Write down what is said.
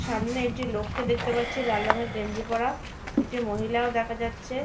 সামনে একটি লোককে দেখতে পাচ্ছি লাল রঙের গেঞ্জি পরা একটি মহিলাও দেখা যাচ্ছে।